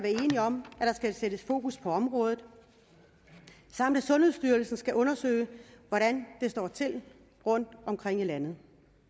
enige om at der skal sættes fokus på området samt at sundhedsstyrelsen skal undersøge hvordan det står til rundtomkring i landet